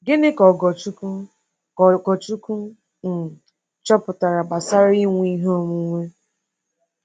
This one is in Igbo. Gịnị ka Ogorchukwu ka Ogorchukwu um chọpụtara gbasara inwe ihe onwunwe?